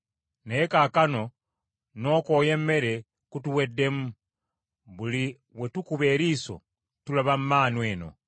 Naye kaakano n’okwoya emmere kutuweddemu, buli we tukuba eriiso tulaba mmaanu eno!”